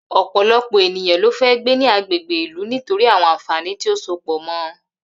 Ò̩pò̩lo̩pò̩ ènìyàn ló fé̩ gbé ní agbègbè ìlú nítorí àwo̩n àǹfàní tí ó so pò̩ mo̩